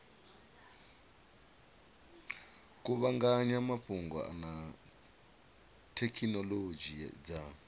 kuvhanganya mafhungo na thekhinolodzhi dza